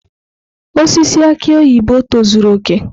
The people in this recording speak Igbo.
Osisi aki oyibo tozuru oke.